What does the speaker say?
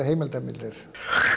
heimildamyndir